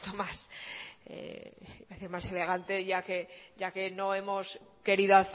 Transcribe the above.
más elegante ya que no ya que nos hemos querido